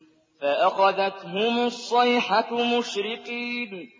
فَأَخَذَتْهُمُ الصَّيْحَةُ مُشْرِقِينَ